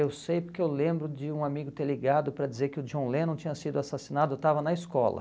Eu sei porque eu lembro de um amigo ter ligado para dizer que o John Lennon tinha sido assassinado, estava na escola.